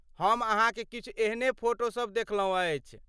हम अहाँक किछु एहने फोटोसब देखलौं अछि।